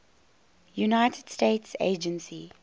united states agency